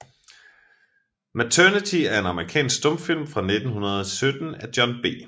Maternity er en amerikansk stumfilm fra 1917 af John B